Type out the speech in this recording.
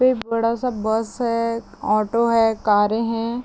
कोई बड़ा-सा बस है ऑटो है कारे है।